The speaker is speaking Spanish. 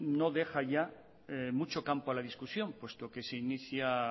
no deja ya mucho campo a la discusión puesto que se inicia